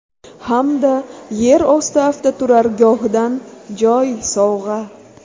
Hamda yer osti avtoturargohidan joy sovg‘a!